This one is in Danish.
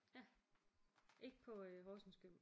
Ja. Ikke på øh Horsens gym